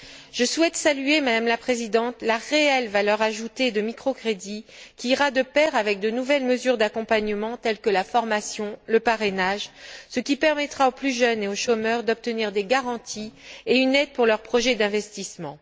Je souhaite saluer, Madame la Présidente, la réelle valeur ajoutée des microcrédits, qui ira de pair avec de nouvelles mesures d'accompagnement, telles que la formation, le parrainage, ce qui permettra aux plus jeunes et aux chômeurs d'obtenir des garanties et une aide pour leurs projets d'investissement.